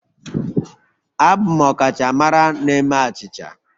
Abụ m ọkachamara na-eme achịcha